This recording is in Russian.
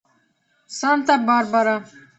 санта барбара